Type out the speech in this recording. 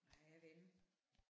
Nej jeg ved ikke